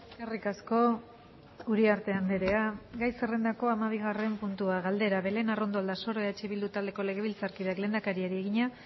eskerrik asko uriarte andrea gai zerrendako hamabigarren puntua galdera belén arrondo aldasoro eh bildu taldeko legebiltzarkideak lehendakariari egina